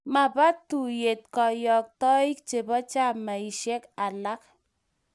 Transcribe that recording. Mapa tuiyet kayoktoik chebo chamaisiek alak.